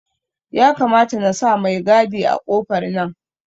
Ya kamata nasa mai gadi a kofar nan